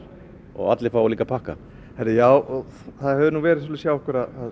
allir fá líka pakka já það hefur verið þannig hjá okkur að